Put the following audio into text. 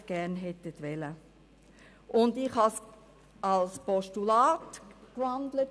Ich habe den Vorstoss von Anfang an in ein Postulat umgewandelt.